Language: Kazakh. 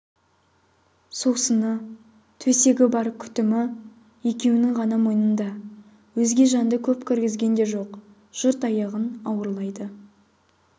сусыны төсегі бар күтімі екеуінің ғана мойнында өзге жанды көп кіргізген де жоқ жұрт аяғын ауырлайды